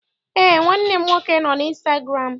Eé, nwanne m nwoke nọ n'ịnstagụramụ.